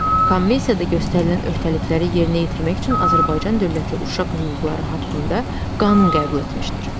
Konvensiyada göstərilən öhdəlikləri yerinə yetirmək üçün Azərbaycan dövləti Uşaq Hüquqları haqqında qanun qəbul etmişdir.